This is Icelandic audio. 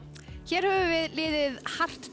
hér höfum við liðið